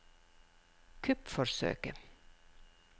kuppforsøket